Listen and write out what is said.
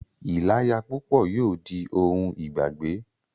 ìláya púpọ̀ yóò di ohun ìgbàgbé.